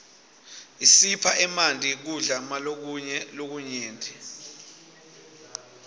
isipha emanti kudla malokunye lokunyenti